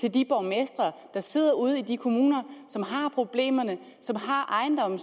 til de borgmestre der sidder ude i de kommuner som har problemerne og som har ejendomme og